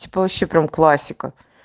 типо вобще прям классика